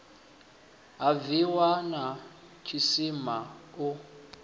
ha bwiwa na tshisima u